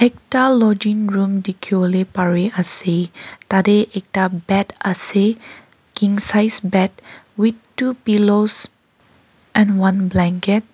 ta lodging room dikhi bole pari ase tade ekta bed ase king size bed with two pillows and one blanket .